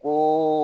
Ko